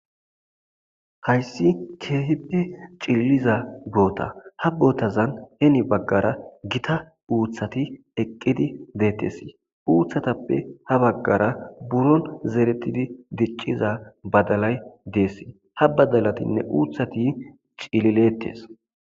Hayssi kehippe cililiza bothako ha bothazan hen bagara githa.uthathineqidi bethes. Uthathape ha bagara zerethidi diciza badalay dees ha badalathine uthathi cililidi dethes.